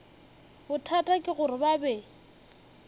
bothata ke gore ba be